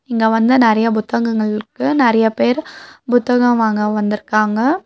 இங்க வந்து நெறைய புத்தகங்கள்ருக்கு நெறைய பேர் புத்தகம் வாங்க வந்திருக்காங்க.